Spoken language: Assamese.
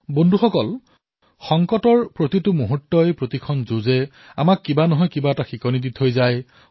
বন্ধুসকল প্ৰত্যেকটো কঠিন পৰিস্থিতি প্ৰত্যেক যুদ্ধই কিবা নহয় কিবা এটা শিকনি প্ৰদান কৰে